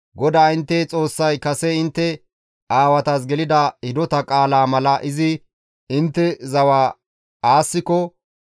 GODAA intte Xoossay kase intte aawatas gelida hidota qaalaa mala izi intte zawa aassiko,